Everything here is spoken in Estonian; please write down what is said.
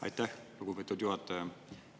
Aitäh, lugupeetud juhataja!